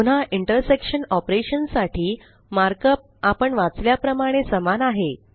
पुन्हा intersection operation साठी markup आपण वाचल्या प्रमाणे समान आहे